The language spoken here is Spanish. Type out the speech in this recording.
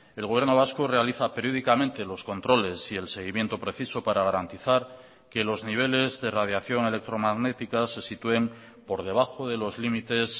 el gobierno vasco realiza periódicamente los controles y el seguimiento preciso para garantizar que los niveles de radiación electromagnética se sitúen por debajo de los límites